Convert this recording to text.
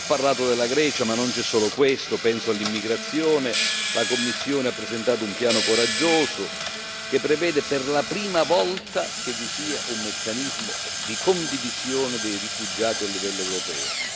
Ho parlato della Grecia, ma non c'è solo questo, penso anche all'immigrazione. La Commissione ha presentato un piano coraggioso, che prevede per la prima volta un meccanismo di condivisione dei rifugiati a livello europeo.